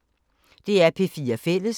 DR P4 Fælles